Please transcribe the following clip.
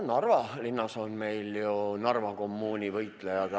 No Narva linnas on meil ju Narva kommuuni võitlejad.